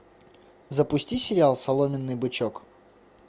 запусти сериал соломенный бычок